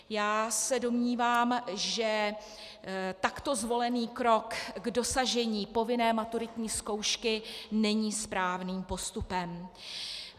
Já se domnívám, že takto zvolený krok k dosažení povinné maturitní zkoušky není správným postupem.